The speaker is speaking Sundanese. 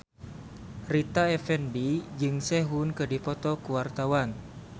Rita Effendy jeung Sehun keur dipoto ku wartawan